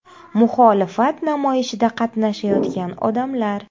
Muxolifat namoyishida qatnashayotgan odamlar.